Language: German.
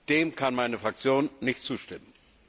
Dem kann meine Fraktion nicht zustimmen!